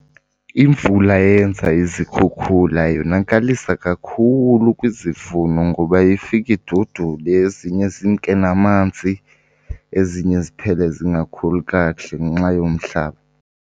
Imvula eyenza izikhukhula yonakalisa kakhulu kwizivuno ngoba ifike idudule, ezinye zimke namanzi, ezinye ziphele zingakhuli kakuhle ngenxa yomhlaba.